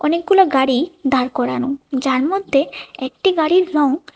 অনেকগুলো গাড়ি দাঁড় করানো যার মধ্যে একটি গাড়ির রঙ--